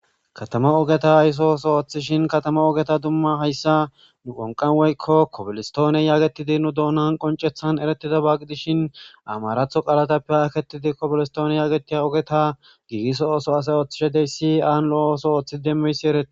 Katama ogeta ayso ooso ooththishin katama ogeta dumma hayssa nu qonqanweykko kobolistooniye yaagetidi nu doonan qoncethan erettida baaqi dishin amaratho qalatappe haketidi kobilistoonie yaagetia ogeta gigiso ooso asa ooththishedey si aan lo7o oso ooththi demmeysi ereti